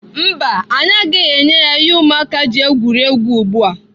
Mba, anyị agaghị enye ya ihe ụmụaka ji egwuri egwu ugbu a.